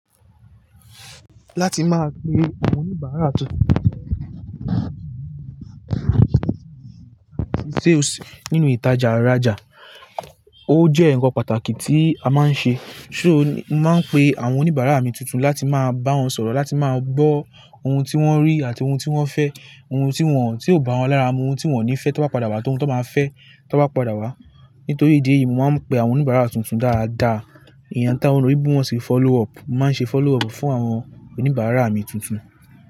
Láti máa pe àwọn oníbàárà ti o si nínu ìtajà raja, ó jẹ́ ǹkan pàtàkì tí a máa ń ṣe. Sọ máa ń pe àwọn oníbàárà mi tuntun láti máa bá wọn sọ̀rọ̀, láti máa gbọ́ ohun tí wọ́n rí àti ohun tí wọ́n fẹ́, ohun tí wọ́n, tí ó bá wọn lára mú, ohun tí wọ́n ò ní fẹ́ tó bá padà wá, ohun tó máa fẹ́ tó bá padà wá. Nítorí ìdí èyí, mo máa ń pe àwọn oníbàárà tuntun dáadáa. Ìyẹn tá wọn lò ní bí wọ́n ṣe follow up. Mo máa ń ṣe follow up fún àwọn oníbàárà mi tuntun.